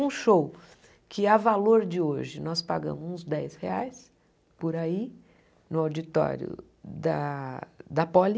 Um show que, a valor de hoje, nós pagamos uns dez reais por aí, no auditório da da Poli,